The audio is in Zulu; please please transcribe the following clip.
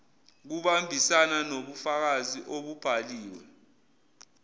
kuhambisana nobufakazi obubhaliwe